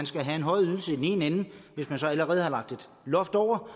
skal have en højere ydelse i den ene ende hvis man så allerede har lagt et loft over